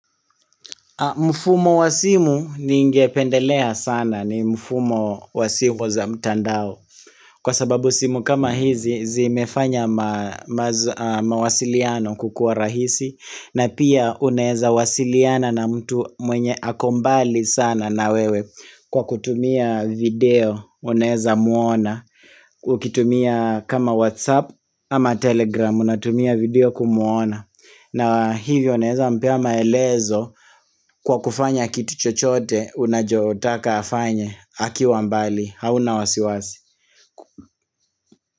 Mfumo wa simu ningependelea sana ni mfumo wa simu za mtandao Kwa sababu simu kama hizi zimefanya mawasiliano kukua rahisi na pia unaezawasiliana na mtu mwenye ako mbali sana na wewe Kwa kutumia video unaezamwona Ukitumia kama whatsapp ama telegram unatumia video kumwona na hivyo naeza mpea maelezo kwa kufanya kitu chochote unachotaka afanye akiwa mbali hauna wasiwasi.